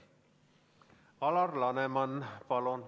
Alar Laneman, palun!